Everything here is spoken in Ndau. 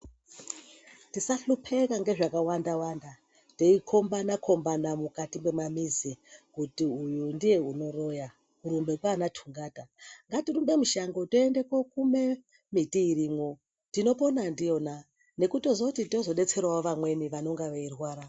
Tisahlopeka nezvakawanda-wanda teikombana-kombana, mukati memamizi kuti uyu ndiye unoroya kurumbe kwana tungata. Ngatirumbe mushango tiende kokume miti irimwo tinopona ndiyona nekutozoti tozobetseravo vamweni vanonga veirwara.